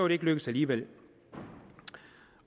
ikke lykkedes alligevel